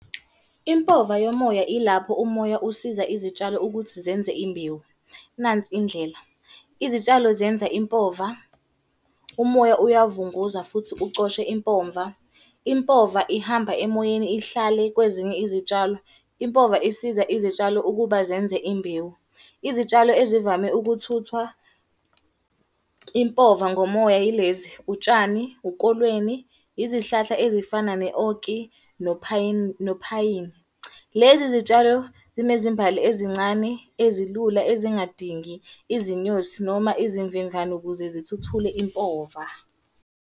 Impova yomoya ilapho umoya usiza izitshalo ukuthi zenze imbewu, nansi indlela. Izitshalo zenza impova, umoya uyavunguza futhi ucoshe impomva. Impova ihamba emoyeni ihlale kwezinye izitshalo. Impova isiza izitshalo ukuba zenze imbewu. Izitshalo ezivame ukuthuthwa impova ngomoya yilezi, utshani, ukolweni, izihlahla ezifana ne-oak, nophayini. Lezi zitshalo zinezimbali ezincane, ezilula, ezingadingi izinyosi noma izimvemvane ukuze zithuthule impova.